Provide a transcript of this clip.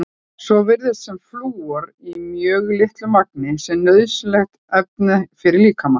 Svo virðist sem flúor í mjög litlu magni sé nauðsynlegt efni fyrir líkamann.